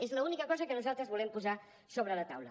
és l’única cosa que nosaltres volem posar sobre la taula